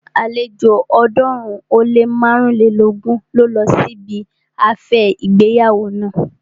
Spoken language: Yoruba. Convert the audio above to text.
Àlejò ọ̀ọ́dúnrún ó lé márùnlélógún ló lọ sí ibi afẹ́ ìgbéyàwó naa